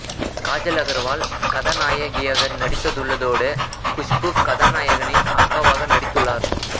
காஜல் அகர்வால் கதாநாயகியாக நடித்துள்ளதோடு குஷ்பூ கதாநாயகனின் அக்காவாக நடித்துள்ளார்